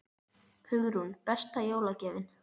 Hugrún: Besta jólagjöfin?